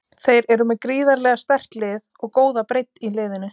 Þeir eru með gríðarlega sterkt lið og góða breidd í liðinu.